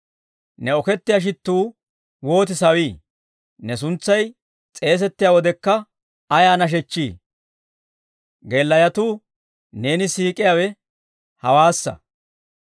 Ne okettiyaa shittuu wooti sawii! Ne suntsay s'eesettiyaa wodekka ayaa nashechchii! Geelayotuu neena siik'iyaawe hewaassa.